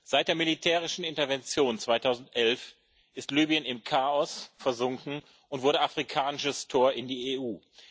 Seit der militärischen Intervention 2011 ist Libyen im Chaos versunken und wurde afrikanisches Tor in die EU.